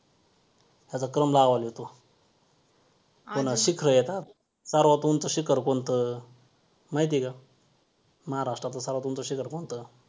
आपल्या ऋषीमुनींनी पण सांगितलं आहे कि बऱ्याचदा व्ययामच हा एक असा उपाय आहे हा अशी औषधी आहे , जो आपल्याला प्रत्येक आजारांपासून दूर ठेवतो.